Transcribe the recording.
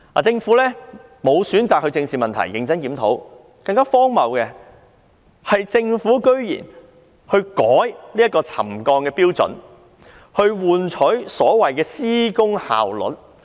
政府選擇不正視問題和認真檢討，更荒謬的是，政府居然還更改了沉降標準，從而換取所謂的施工效率。